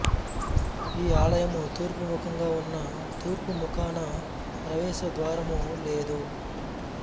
ఈ ఆలయము తూర్పు ముఖంగా ఉన్నా తూర్పు ముఖాన ప్రవేశ ద్వారము లేదు